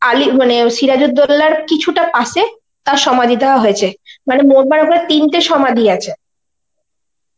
আলী মানে সিরাজ উদ্দৌলার কিছুটা পাশে তার সমাধি দেওয়া হয়েছে. মানে মোট মাঠ ওখানে তিনটের সমাধি আছে.